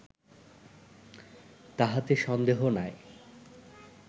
তাহাতে সন্দেহ নাই